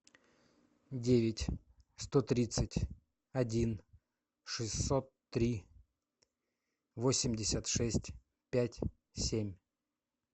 девять сто тридцать один шестьсот три восемьдесят шесть пять семь